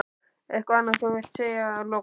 Eitthvað sem þú vilt segja að lokum?